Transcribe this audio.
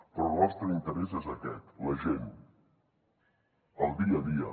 però el nostre interès és aquest la gent el dia a dia